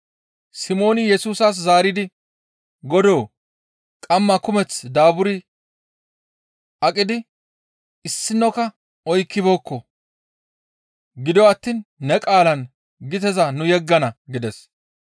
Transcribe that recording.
Simooni Yesusas zaaridi, «Godoo! Qammaa kumeth daaburi aqidi issinokka oykkibeekko; gido attiin ne qaalaan giteza nu yeggana» gides.